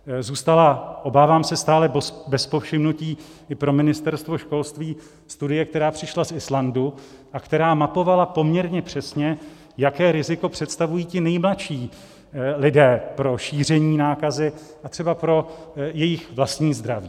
Zůstává, obávám se, stále bez povšimnutí i pro Ministerstvo školství studie, která přišla z Islandu a která mapovala poměrně přesně, jaké riziko představují ti nejmladší lidé pro šíření nákazy a třeba pro jejich vlastní zdraví.